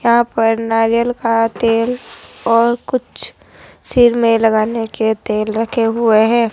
यहां पर नारियल का तेल और कुछ सिर में लगाने के तेल रखे हुए है।